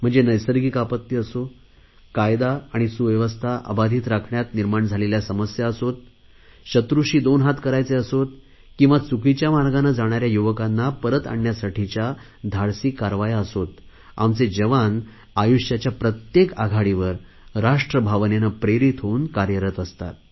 नैसर्गिक आपत्ती असो कायदा आणि सुव्यवस्था अबाधित राखण्यात निर्माण झालेल्या समस्या असो शत्रूशी दोन हात करायचे असो किंवा चुकीच्या मार्गाने जाणाऱ्या युवकांना परत आणण्यासाठीच्या धाडसी कारवाया असो आमचे जवान आयुष्याच्या प्रत्येक आघाडीवर राष्ट्र भावनेने प्रेरित होऊन कार्यरत राहतात